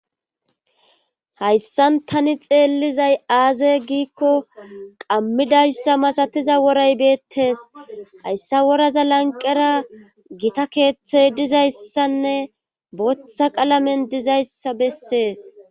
Hayssan tani xeellizay aaze giikko qammidayssa masatiza woray beettes hayssa woraza lanqera gita keeththey dizayssanne bootha qalamen dizayssa bessees.